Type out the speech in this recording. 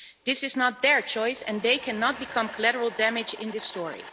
This is not their choice and they cannot become collateral damage in this story.